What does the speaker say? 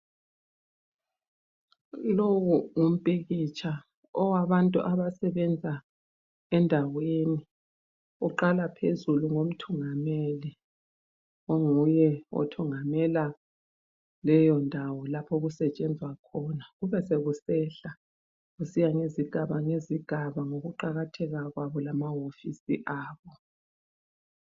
Lowu ngumpikitsha owabantu abasebenza endaweni. Uqala phezulu ngomthungameli onguye othungamela leyondawo lapho okusetshenzwa khona, kube sekusehla kusiya ngezigaba ngezigaba ngokuqakatheka kwabo lamawofisi abo.